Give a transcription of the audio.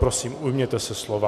Prosím, ujměte se slova.